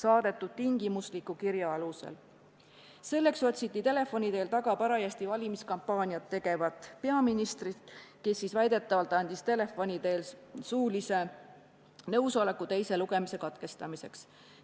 Et seda teha, otsiti telefoni teel taga parajasti valimiskampaaniat tegevat peaministrit, kes väidetavalt andis telefoni teel nõusoleku teise lugemise katkestamiseks.